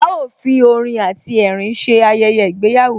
A ó fi orin àti ẹ̀rín ṣe Ayẹyẹ ìgbéyàwó